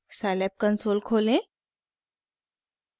scilab console खोलें